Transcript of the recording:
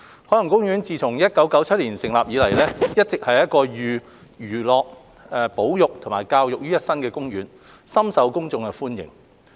海洋公園自1977年成立以來，一直是一個寓康樂、保育及教育於一身的公園，深受公眾歡迎。